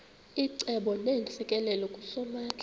icebo neentsikelelo kusomandla